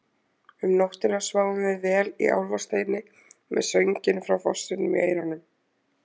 Um nóttina sváfum við vel í Álfasteini með sönginn frá fossinum í eyrunum.